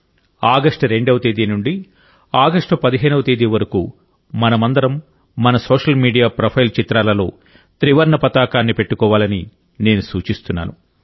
August 2వ తేదీ నుండి ఆగస్టు 15వ తేదీ వరకు మనమందరం మన సోషల్ మీడియా ప్రొఫైల్ చిత్రాలలో త్రివర్ణ పతాకాన్ని పెట్టుకోవాలని నేను సూచిస్తున్నాను